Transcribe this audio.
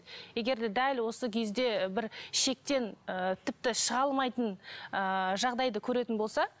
егер де дәл осы кезде бір шектен ы тіпті шыға алмайтын ыыы жағдайды көретін болса